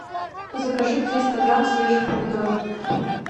закажи триста грамм свежих помидоров